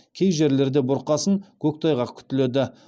кей жерлерде бұрқасын көктайғақ күтіледі